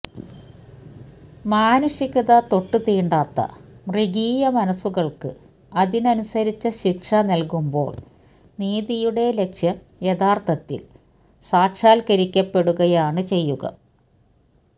മാനുഷികത തൊട്ടുതീണ്ടാത്ത മൃഗീയ മനസ്സുകള്ക്ക് അതിനനുസരിച്ച ശിക്ഷ നല്കുമ്പോള് നീതിയുടെ ലക്ഷ്യം യഥാര്ത്ഥത്തില് സാക്ഷാത്കരിക്കപ്പെടുകയാണ് ചെയ്യുക